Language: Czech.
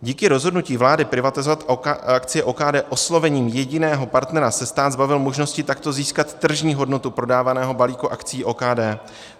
Díky rozhodnutí vlády privatizovat akcie OKD oslovením jediného partnera se stát zbavil možnosti takto získat tržní hodnotu prodávaného balíku akcií OKD.